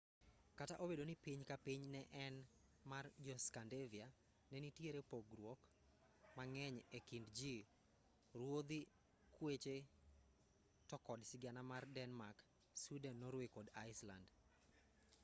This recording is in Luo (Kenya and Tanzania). kata obedo ni piny ka piny ne en mar 'jo-scandivia' ne nitiere pogruoge mang'eny e kind ji ruodhi kweche to kod sigana mar denmark sweden norway kod iceland